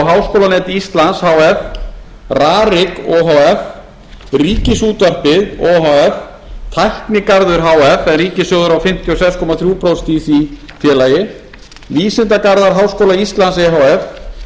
háskólanet íslands h f rarik o h f ríkisútvarpið o h f tæknigarður h f en ríkissjóður á fimmtíu og sex komma þrjú prósent í því félagi vísindagarðar háskóla íslands e h f vísindagarðurinn